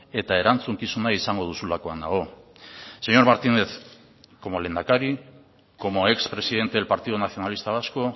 eta erantzukizuna izango duzulakoan nago señor martínez como lehendakari como ex presidente del partido nacionalista vasco